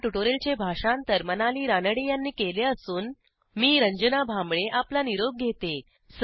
ह्या ट्युटोरियलचे भाषांतर मनाली रानडे यांनी केले असून मी रंजना भांबळे आपला निरोप घेते